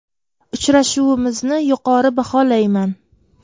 Uchrashuvimizni yuqori baholayman.